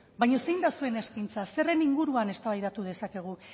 baina zein da zuen eskaintza zerren inguruan eztabaidatu dezakegu